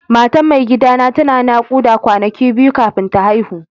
Matan mai gida na tana nakuda kwanaki biyu kafin ta haihu.